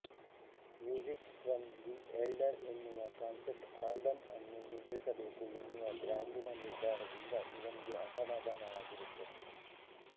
music from the elder ಎನ್ನುವ concept album ಅನ್ನು ಮುದ್ರಿಸ ಬೇಕು ಎನ್ನುವ ಬ್ಯಾಂಡಿನ ನಿರ್ಧಾರದಿಂದ ಇವನಿಗೆ ಅಸಮಾಧಾನವಾಗಿತ್ತದೆ